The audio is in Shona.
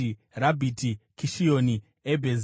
Rabhiti, Kishioni, Ebhezi,